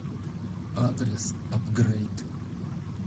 адрес апгрейд